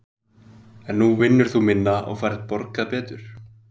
Þóra: En nú vinnur þú minna og færð borgað betur?